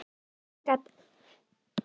Ég gat ekki varist brosi.